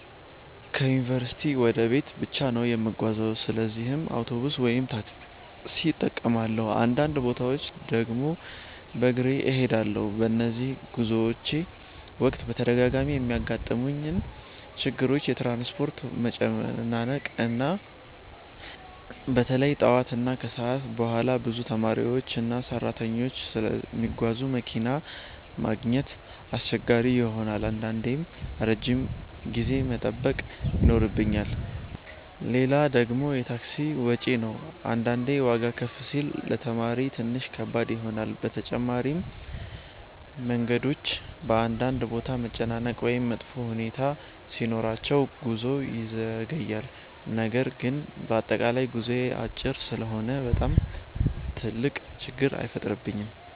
ከዩንቨርሲቲ ወደ ቤት ብቻ ነው የምጓዘው ለዚህም አውቶቡስ ወይም ታክሲ እጠቀማለሁ፣ አንዳንድ ቦታዎች ድግም በግሬ እሄዳለሁ። በነዚህ ጉዞዎቼ ወቅት በተደጋጋሚ የሚያጋጥሙኝ ችግሮች የትራንስፖርት መጨናነቅ ነው። በተለይ ጠዋት እና ከሰዓት በኋላ ብዙ ተማሪዎችና ሰራተኞች ስለሚጓዙ መኪና ማግኘት አስቸጋሪ ይሆናል አንዳንዴም ረጅም ጊዜ መጠበቅ ይኖርብኛል። ሌላ ደግሞ የታክሲ ወጪ ነው አንዳንዴ ዋጋ ከፍ ሲል ለተማሪ ትንሽ ከባድ ይሆናል። በተጨማሪም መንገዶች በአንዳንድ ቦታ መጨናነቅ ወይም መጥፎ ሁኔታ ሲኖራቸው ጉዞ ይዘገያል። ነገር ግን በአጠቃላይ ጉዞዬ አጭር ስለሆነ በጣም ትልቅ ችግር አይፈጥርብኝም።